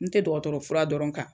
N te dɔgɔtɔrɔ fura dɔrɔn kan